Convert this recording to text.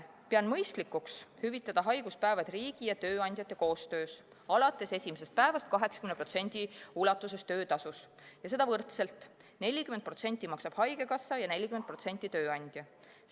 Pean mõistlikuks hüvitada haiguspäevad riigi ja tööandjate koostöös alates esimesest päevast 80% ulatuses töötasust ja seda võrdselt: 40% maksab haigekassa ja 40% tööandja.